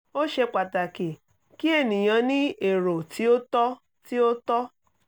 ó ṣe pàtàkì kí ènìyàn ní èrò tí ó tọ́ tí ó tọ́